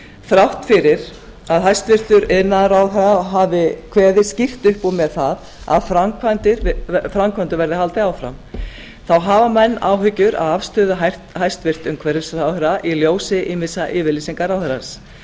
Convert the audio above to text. þrátt fyrir að hæstvirtur iðnaðarráðherra hafi kveðið skýrt upp úr með það að framkvæmdum verði haldið áfram þá hafa menn áhyggjur af afstöðu hæstvirts umhverfisráðherra í ljósi ýmissa yfirlýsinga ráðherrans